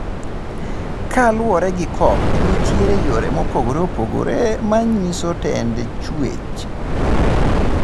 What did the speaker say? Ka luore gi Cobb nitiere yore mopogore pogere manyiso tend chwech.